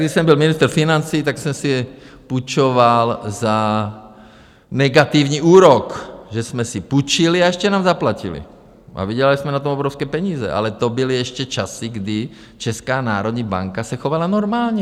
Když jsem byl ministr financí, tak jsem si půjčoval za negativní úrok, že jsme si půjčili, a ještě nám zaplatili a vydělali jsme na tom obrovské peníze, ale to byly ještě časy, kdy Česká národní banka se chovala normálně.